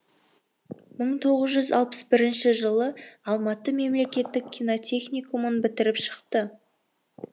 мың тоғыз жүз алпыс бірінші жылы алматы мемлекеттік кинотехникумын бітіріп шықты